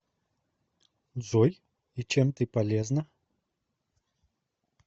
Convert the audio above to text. джой и чем ты полезна